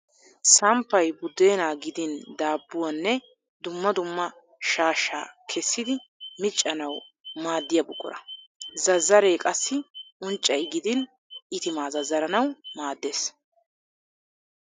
Samppay buddeenaa gidin daabbuwaa name dumma dumma shaashsha kessidi miccana Wu maaddiya buqura. Zazzaree qassi unccay gidin itimaa zazzaranawu maaddes.